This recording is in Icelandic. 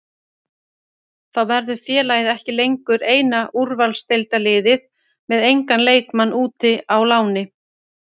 Þá verður félagið ekki lengur eina úrvalsdeildarliðið með engan leikmann úti á láni.